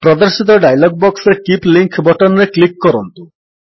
ପ୍ରଦର୍ଶିତ ଡାୟଲଗ୍ ବକ୍ସରେ keep link button ରେ କ୍ଲିକ୍ କରନ୍ତୁ